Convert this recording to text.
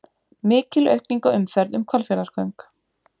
Mikil aukning á umferð um Hvalfjarðargöng